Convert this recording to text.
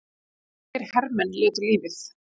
Breskir hermenn létu lífið